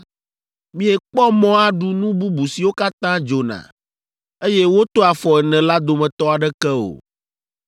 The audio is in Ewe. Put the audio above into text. Miekpɔ mɔ aɖu nu bubu siwo katã dzona, eye woto afɔ ene la dometɔ aɖeke o.